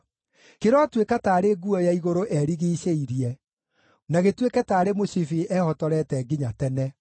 Kĩrotuĩka taarĩ nguo ya igũrũ erigiicĩirie, na gĩtuĩke taarĩ mũcibi ehotorete nginya tene.